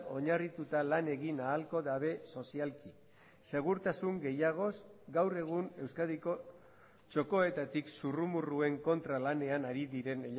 oinarrituta lan egin ahalko dabe sozialki segurtasun gehiagoz gaur egun euskadiko txokoetatik zurrumurruen kontra lanean ari diren